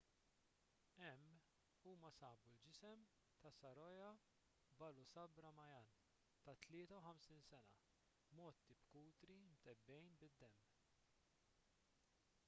hemm huma sabu l-ġisem ta' saroja balasubramanian ta' 53 sena mgħotti b'kutri mtebbgħin bid-demm